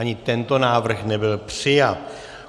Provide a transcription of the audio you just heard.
Ani tento návrh nebyl přijat.